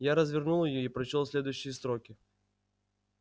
я развернул её и прочёл следующие строки